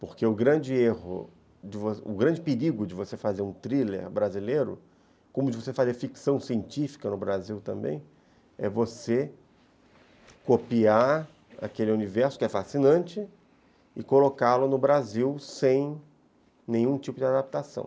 Porque o grande perigo de você fazer um thriller brasileiro, como de você fazer ficção científica no Brasil também, é você copiar aquele universo que é fascinante e colocá-lo no Brasil sem nenhum tipo de adaptação.